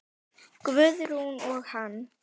Guðrún og hann.